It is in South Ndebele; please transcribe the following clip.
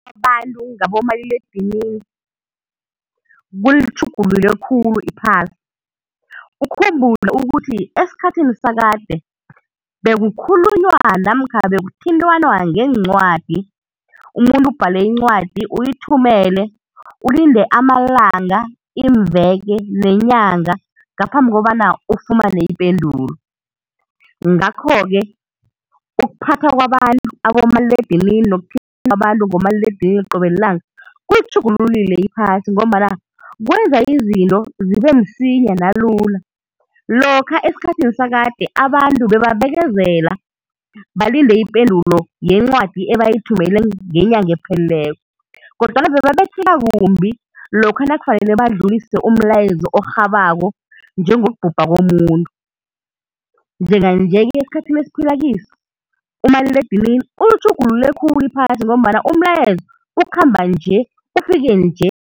Abantu ngabomaliledinini kulitjhugulule khulu iphasi, ukhumbule ukuthi esikhathini sakade bekukhulunywa namkha bekuthintanwa ngeencwadi umuntu ubhale incwadi uyithumele, ulinde amalanga, iimveke nenyanga ngaphambi kobana ufumane ipendulo. Ngakho-ke ukuphatha kwabantu abomaliledinini abomaliledinini qobe lilanga kulitjhugululile iphasi ngombana kwenza izinto zibe msinya nalula. Lokha esikhathini sakade abantu bebabekezela balinde ipendulo yencwadi ebayithumele ngenyanga ephelileko, kodwana bebabetheka kumbi lokha nakufanele badlulise umlayezo orhabako njengokubhubha komuntu. Njenga-nje esikhathini esiphila kiso umaliledinini ulitjhugulule khulu iphasi ngombana umlayezo ukhamba nje ufike nje.